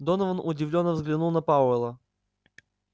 донован удивлённо взглянул на пауэлла